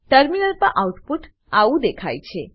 terminal પર output આવું દેખાય છે